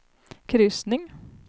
kryssning